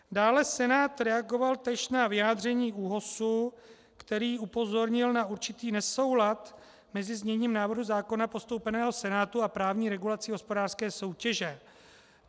Dále Senát reagoval též na vyjádření ÚOHSu, který upozornil na určitý nesoulad mezi zněním návrhu zákona postoupeného Senátu a právní regulací hospodářské soutěže.